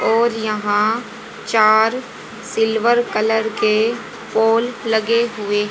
और यहां चार सिल्वर कलर के पोल लगे हुए--